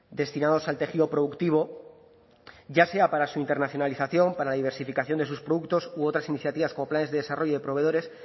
destinados al tejido productivo ya sea para su internacionalización para la diversificación de sus productos u otras iniciativas como planes de desarrollo de proveedores